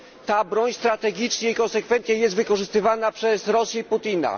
Ta broń strategicznie i konsekwentnie jest wykorzystywana przez Rosję Putina.